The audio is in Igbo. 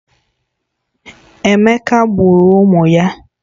Emeka gburu ụmụ ya